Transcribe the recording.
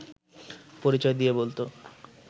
পরিচয় দিয়ে বলত